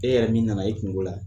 E yɛrɛ min nana e kungo la